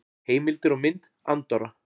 Heimildir og mynd Andorra.